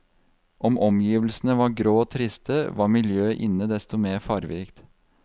Om omgivelsene var grå og triste, var miljøet inne desto mer farverikt.